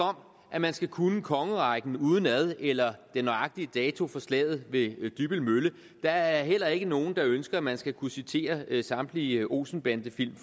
om at man skal kunne kongerækken udenad eller den nøjagtige dato for slaget ved dybbøl mølle der er heller ikke nogen der ønsker at man skal kunne citere samtlige olsen bande film